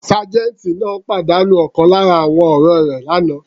Sergeant náà pàdánù ọ̀kan lára àwọn ọ̀rẹ́ rẹ̀ l'ana.